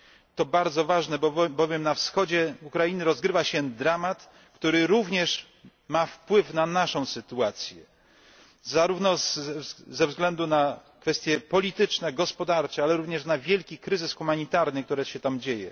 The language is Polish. To bardzo ważne, bowiem na wschodzie Ukrainy rozgrywa się dramat, który również ma wpływ na naszą sytuację, zarówno ze względu na kwestie polityczne, gospodarcze, ale i ze względu na wielki kryzys humanitarny, który tam trwa.